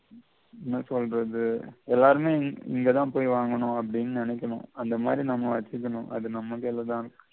என்ன சொல்றது எல்லாருமே இங்க தான் போயி வாங்கனும் அப்படின்னு நினைக்கணும் அந்த மாதி நம்ம வச்சுக்கணும் அது நம்ம கைல தான் இருக்கு.